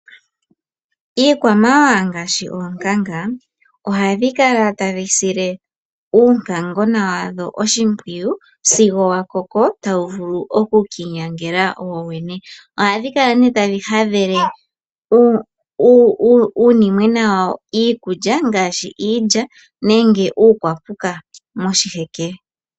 Iikwamawawa ngaashi oonkanga ohadhi kala tadhi sile uunkangona wadho oshimpwiyu sigo wakoko tawu vulu okukiinyangela wowene. Ohadhi kala ne tadhi hadhele uunimwena wadho iikulya ngaashi iilya nenge uukwapuka moshiheke.